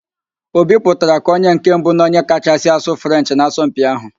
Obi pụtara ka onye nke mbụ na onye kachasị asụ Frenchị n'asọmpi ahụ